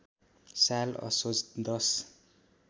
साल असोज १०